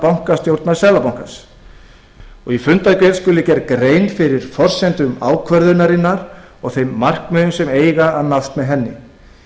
bankastjórnar seðlabankans í fundargerð skuli gerð grein fyrir forsendum ákvörðunarinnar og þeim markmiðum sem eiga að nást með henni